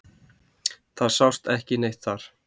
Það sást ekki neitt þar.